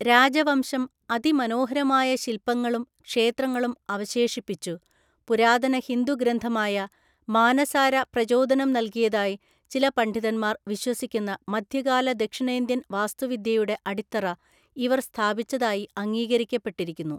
രാജവംശം അതിമനോഹരമായ ശിൽപങ്ങളും ക്ഷേത്രങ്ങളും അവശേഷിപ്പിച്ചു, പുരാതന ഹിന്ദു ഗ്രന്ഥമായ മാനസാര പ്രചോദനം നൽകിയതായി ചില പണ്ഡിതന്മാർ വിശ്വസിക്കുന്ന മധ്യകാല ദക്ഷിണേന്ത്യൻ വാസ്തുവിദ്യയുടെ അടിത്തറ ഇവർ സ്ഥാപിച്ചതായി അംഗീകരിക്കപ്പെട്ടിരിക്കുന്നു.